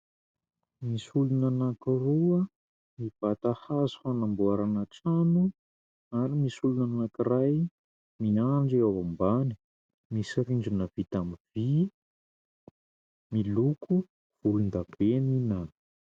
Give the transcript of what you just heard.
Misy olona anankiroa mibata hazo hanamboarana trano ary misy olona anankiray miandry eo ambany. Misy rindrina vita amin'ny vy miloko volondavenona.